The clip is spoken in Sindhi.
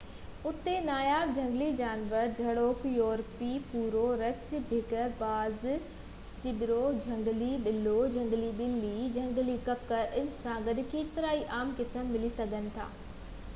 اُتي ناياب جهنگلي جانور جهڙوڪ يورپي ڀورو رڇ بگهڙ باز چٻرو جهنگلي ٻلو جهنگلي ٻلي ۽ جهنگلي ڪڪڙ ان سان گڏ ڪيترائي عام قسم ملي سگهن ٿا